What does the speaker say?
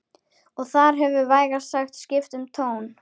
Og þar hefur vægast sagt skipt um tón